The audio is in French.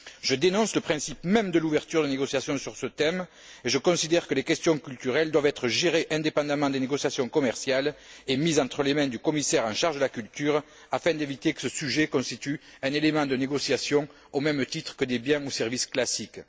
Je dénonce le principe même de l'ouverture de négociations sur ce thème et je considère que les questions culturelles doivent être gérées indépendamment des négociations commerciales et mises entre les mains du commissaire en charge de la culture afin d'éviter que ce sujet constitue un élément de négociation au même titre que des biens ou services classiques.